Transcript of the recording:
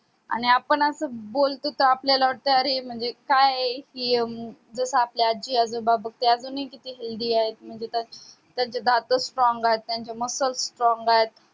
आणि आपण असं बोलतो का अरे म्हणजे काय आहे हे कि जसे आपली आजी आजोबा बग ते अजून हि किती healthy आहे म्हणजे त्यांचे दात strong आहेत त्यांचे मसल strong आहेत अह